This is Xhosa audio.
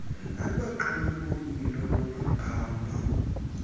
nabaxumi boyilo lokuphamba